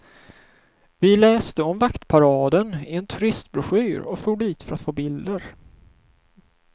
Vi läste om vaktparaden i en turistbroschyr och for dit för att få bilder.